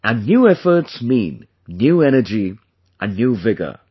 And, new efforts mean new energy and new vigor